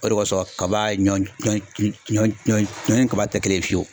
O de kosɔn kaba ɲɔ ɲɔ ɲɔ ɲɔ ɲɔ ni kaba tɛ kelen fiyewu.